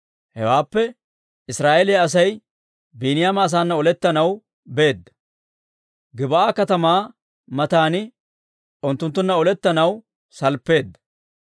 Hewaappe Israa'eeliyaa Asay Biiniyaama asaana olettanaw beedda; Gib'aa katamaa mataan unttunttunna olettanaw salppeedda.